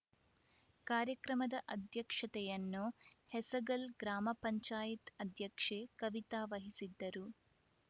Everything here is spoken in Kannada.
ಕಾರ್ಯಕ್ರಮದ ಅಧ್ಯಕ್ಷತೆಯನ್ನು ಹೆಸಗಲ್‌ ಗ್ರಾಮ ಪಂಚಾಯತ್ ಅಧ್ಯಕ್ಷೆ ಕವಿತಾ ವಹಿಸಿದ್ದರು